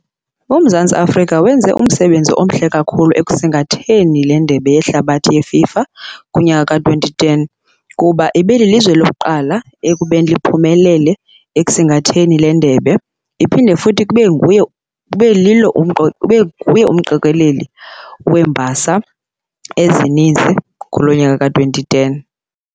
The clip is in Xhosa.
UMzantsi Afrika wenze umsebenzi omhle kakhulu ekusingatheni le ndebe yehlabathi yeFIFA kunyaka ka-twenty ten, kuba ibililizwe lokuqala ekubeni liphumelele ekusingatheni le ndebe, iphinde futhi kube nguyo kube lilo ibe nguye umqokeleli wembasa ezininzi kuloo nyaka ka-twenty ten.